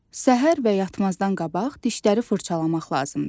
Səhər və yatmazdan qabaq dişləri fırçalamaq lazımdır.